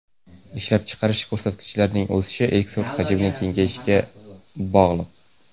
Ishlab chiqarish ko‘rsatkichlarining o‘sishi eksport hajmining kengayishi bilan bog‘liq.